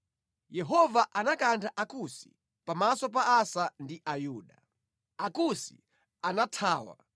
Yehova anakantha Akusi pamaso pa Asa ndi Ayuda. Akusi anathawa,